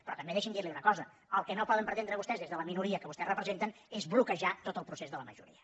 però també deixi’m dir li una cosa el que no poden pretendre vostès des de la minoria que vostès representen és bloquejar tot el procés de la majoria